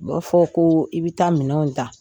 U b'a fɔ ko i bɛ taa minɛnw ta